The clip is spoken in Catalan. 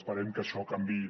esperem que això canviï